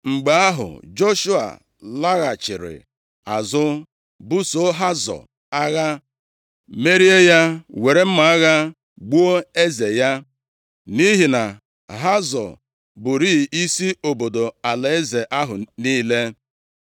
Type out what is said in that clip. Mgbe ahụ, Joshua laghachiri azụ busoo Hazọ agha merie ya, were mma agha gbuo eze ya, nʼihi na Hazọ bụrịị isi obodo alaeze ahụ niile.